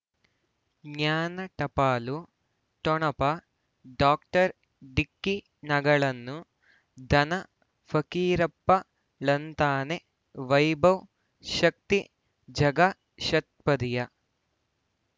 ಜ್ಞಾನ ಟಪಾಲು ಠೊಣಪ ಡಾಕ್ಟರ್ ಢಿಕ್ಕಿ ಣಗಳನು ಧನ ಫಕೀರಪ್ಪ ಳಂತಾನೆ ವೈಭವ್ ಶಕ್ತಿ ಝಗಾ ಷತ್ಪದಿಯ